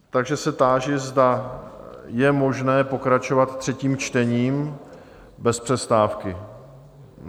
Takže se táži, zda je možné pokračovat třetím čtením bez přestávky.